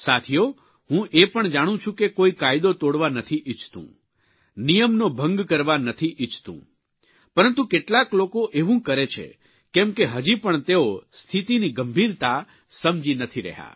સાથીઓ હું એ પણ જાણું છું કે કોઇ કાયદો તોડવા નથી ઇચ્છતું નિયમનો ભંગ કરવા નથી ઇચ્છતું પરંતુ કેટલાક લોકો એવું કરે છે કેમ કે હજી પણ તેઓ સ્થિતિની ગંભીરતા સમજી નથી રહ્યા